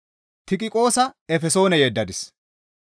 Tiqiqoosa Efesoone yeddadis.